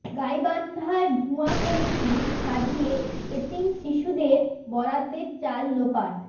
গাইবান্ধায় ভুয়া কমিটি সাজিয়ে এতিম শিশুদের বরাদ্দের চাল লোপাট